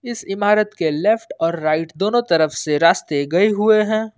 इस इमारत के लेफ्ट और राइट दोनों तरफ से रास्ते गए हुए हैं।